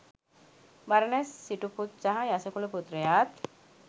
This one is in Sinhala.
බරණැස් සිටුපුත් සහ යසකුල පුත්‍රයාත්